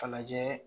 Fa lajɛ